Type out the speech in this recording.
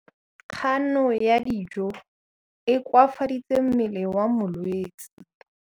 Kganô ya go ja dijo e koafaditse mmele wa molwetse.